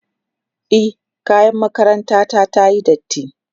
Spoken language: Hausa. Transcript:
e kayan makaranta ta tayi datti